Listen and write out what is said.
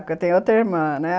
Porque tem outra irmã, né?